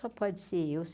Só pode ser eu.